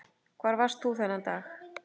Hvar varst þú þennan dag?